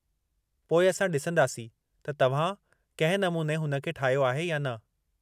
पोइ असां ॾिसंदासीं त तव्हां कंहिं नमूने हुन खे ठाहियो आहे या न।